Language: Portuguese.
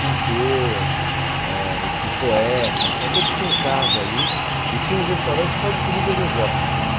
pintor, eh escri poetas, tal todos tinham casa ali e tinha um restaurante só de comidas exóticas.